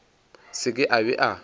se ke a be a